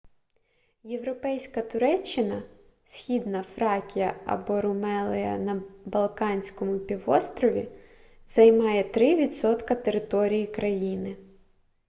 європейська туреччина східна фракія або румелия на балканському півострові займає 3 % території країни